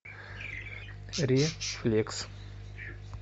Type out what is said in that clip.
рефлекс